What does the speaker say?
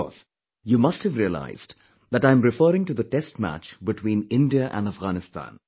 Of course you must have realized that I am referring to the test match between India and Afghanistan